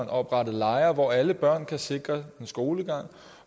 oprettet lejre hvor alle børn er sikret en skolegang